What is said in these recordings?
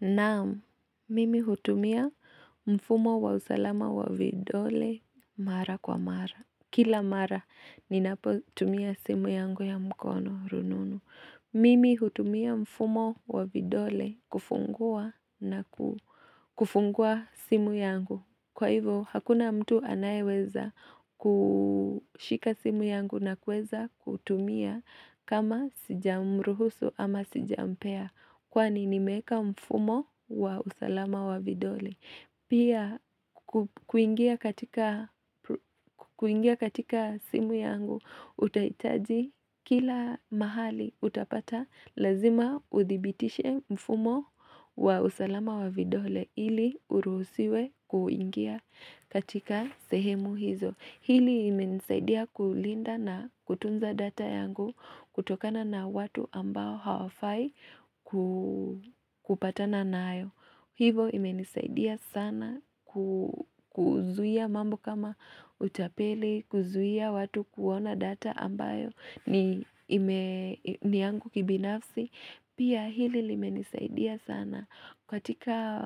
Naam. Mimi hutumia mfumo wa usalama wa vidole mara kwa mara. Kila mara ninapotumia simu yangu ya mkono rununu. Mimi hutumia mfumo wa vidole kufungua na kufungua simu yangu. Kwa hivyo, hakuna mtu anayeweza kushika simu yangu na kuweza kutumia kama sijamruhusu ama sijampea. Kwani nimeeka mfumo wa usalama wa vidole. Pia kuingia katika simu yangu utahitaji kila mahali utapata lazima uthibitishe mfumo wa usalama wa vidole ili uruhusiwe kuingia katika sehemu hizo. Hili imenisaidia kulinda na kutunza data yangu kutokana na watu ambao hawafai kupatana nayo. Hivo imenisaidia sana kuzuia mambo kama utapeli, kuzuia watu kuona data ambayo ni yangu kibinafsi. Pia hili limenisaidia sana katika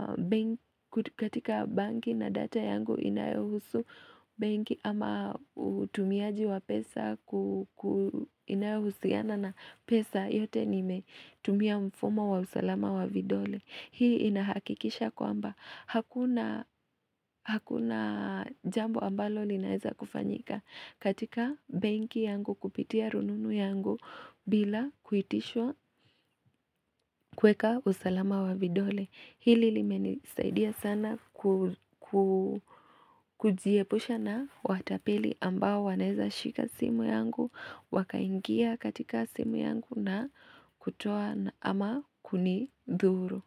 katika benki na data yangu inayohusu benki ama utumiaji wa pesa inayohusiana na pesa yote nimetumia mfumo wa usalama wa vidole. Hii inahakikisha kwamba hakuna Hakuna jambo ambalo linaeza kufanyika katika benki yangu kupitia rununu yangu bila kuitishwa kuweka usalama wa vidole. Hili limenisaidia sana kujiepusha na watapeli ambao wanaeza shika simu yangu wakaingia katika simu yangu na kutoa ama kunidhuru.